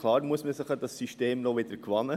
Klar muss man sich an dieses System erst gewöhnen.